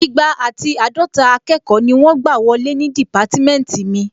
Igba àti àádọta akẹ́kọ̀ọ́ ni wọ́n gbà wọlé ní dìpátímẹ́ntì mi